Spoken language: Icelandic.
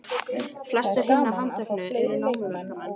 Flestir hinna handteknu eru námuverkamenn